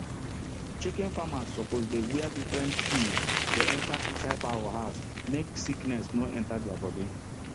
chicken farmers suppose dey wear different shoes dey enter inside fowl house make sickness no enter deir body